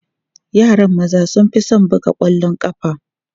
Yaran maza sun fi son buga ƙwallon ƙafa.